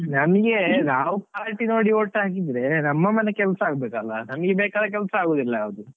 ನಮ್ಗೆ ನಾವು party ನೋಡಿ vote ಹಾಕಿದ್ರೆ, ನಮ್ಮ ಮನೆ ಕೆಲಸ ಆಗ್ಬೇಕಲ್ಲ, ನಮಗೆ ಬೇಕಾದ ಕೆಲಸ ಆಗುದಿಲ್ಲ ಯಾವ್ದು.